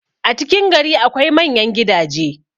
a cikin gari akwai manyan gidaje